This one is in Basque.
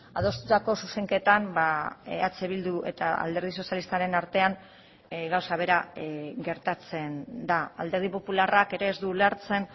adostutako zuzenketan eh bildu eta alderdi sozialistaren artean gauza bera gertatzen da alderdi popularrak ere ez du ulertzen